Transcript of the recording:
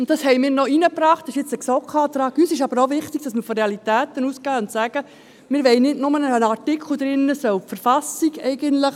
Uns ist aber auch wichtig, dass man von Realitäten ausgeht und sagt: «Wir wollen nicht nur einen Artikel drin, wonach eigentlich die Verfassung respektiert werden soll.